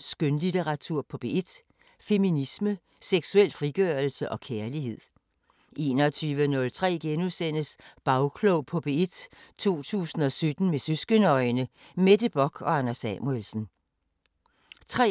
Skønlitteratur på P1: Feminisme, seksuel frigørelse og kærlighed * 21:03: Bagklog på P1: 2017 med søskende-øjne: Mette Bock og Anders Samuelsen * 23:03: